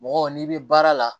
Mɔgɔ n'i bɛ baara la